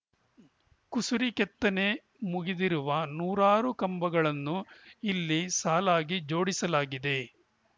ಕುಸುರಿ ಕೆತ್ತನೆ ಮುಗಿದಿರುವ ನೂರಾರು ಕಂಬಗಳನ್ನು ಇಲ್ಲಿ ಸಾಲಾಗಿ ಜೋಡಿಸಿಡಲಾಗಿದೆ